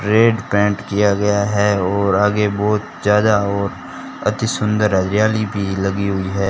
Red paint किया गया है और आगे बहुत ज्यादा और अति सुंदर हरियाली भी लगी हुई है।